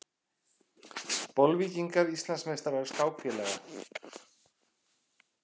Bolvíkingar Íslandsmeistarar skákfélaga